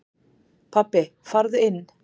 Pabbi farðu inn!